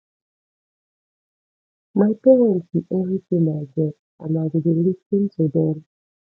my parents be everything i get and i go dey lis ten to dem